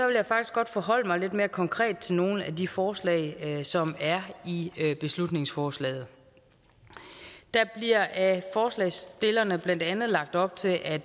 vil jeg faktisk godt forholde mig lidt mere konkret til nogle af de forslag som er i beslutningsforslaget der bliver af forslagsstillerne blandt andet lagt op til at